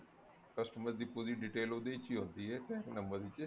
customer ਦੀ ਪੂਰੀ detail ਉਹਦੇ ਵਿੱਚ ਹੀ ਹੁੰਦੀ ਐ front number ਵਿੱਚ